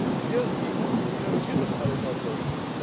Und wir, die EU, wir finanzieren das alles auch noch!